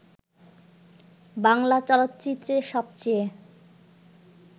বাংলা চলচ্চিত্রের সবচেয়ে